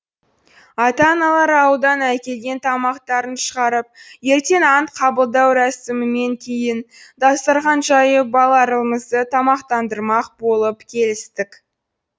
ата аналар ауылдан әкелген тамақтарын шығарып ертең ант қабылдау рәсімінен кейін дастархан жайып балаларымызды тамақтандырмақ болып келістік